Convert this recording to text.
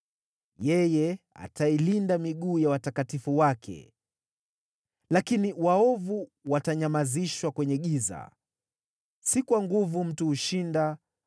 Yeye atailinda miguu ya watakatifu wake, lakini waovu watanyamazishwa kwenye giza. “Si kwa nguvu mtu hushinda;